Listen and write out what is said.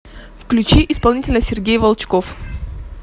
включи исполнителя сергей волчков